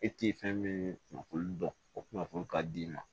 E tɛ fɛn min kunnafoni dɔn o kunnafoni ka di i ma